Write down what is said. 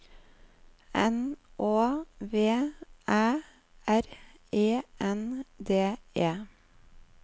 N Å V Æ R E N D E